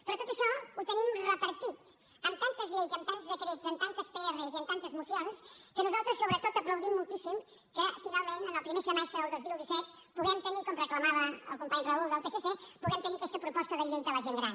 però tot això ho tenim repartit en tantes lleis en tants decrets en tantes pr i en tantes mocions que nosaltres sobretot aplaudim moltíssim que finalment en el primer semestre del dos mil disset puguem tenir com reclamava el company raúl del psc aquesta proposta de llei de la gent gran